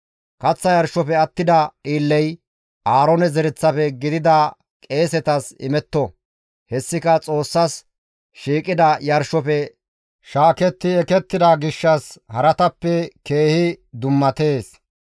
Kaththa yarshofe attida dhiilley Aaroone zereththafe gidida qeesetas imetto; hessika Xoossas shiiqida yarshofe shaaketti ekettida gishshas haratappe keehi dummatees.